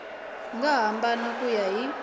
nga hambana ku ya hi